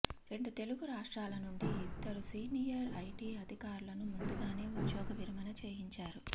రెండు తెలుగు రాష్ట్రాల నుండి ఇద్దరు సీనియర్ ఐటీ అధికారులను ముందుగానే ఉద్యోగ విరమణ చేయించారు